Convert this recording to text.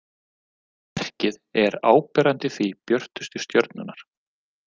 Merkið er áberandi því björtustu stjörnurnar.